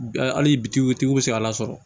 Hali bitigiw tigiw bɛ se k'a lasɔrɔ